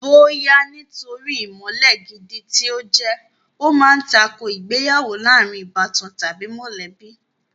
Bóyá nítorí ìmọ̀le gidi tí ó jẹ́, ó ma ń tako ìgbéyàwó láàrin ìbátan tàbí mọ̀lẹ́bí